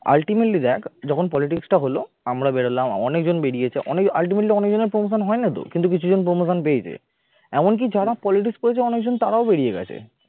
ultimately দেখ যখন politics টা হলো আমরা ধরলাম অনেকজন বেরিয়েছে অনেক ultimately অনেক জনের promotion হয় না তো কিন্তু কিছু জন promotion পেয়েছে এমনকি যারা politics করেছে অনেকজন তারাও বেরিয়ে গেছে